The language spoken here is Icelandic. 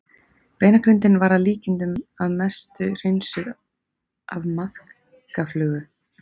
Beinagrindin var að líkindum að mestu hreinsuð af maðkaflugu.